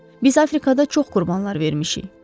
Biz Afrikada çox qurbanlar vermişik.